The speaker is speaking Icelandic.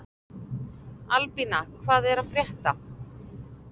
Albína, hvað er að frétta?